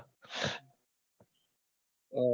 અર